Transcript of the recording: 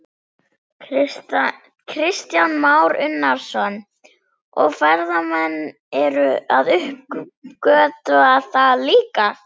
Kristján Már Unnarsson: Og ferðamenn eru að uppgötva það líka?